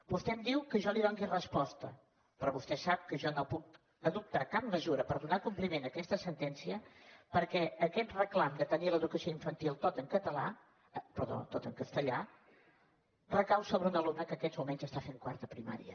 vostè em diu que jo li doni resposta però vostè sap que jo no puc adoptar cap mesura per donar compliment a aquesta sentència perquè aquest reclam de tenir l’educació infantil tota en castellà recau sobre un alumne que en aquests moments fa quart de primària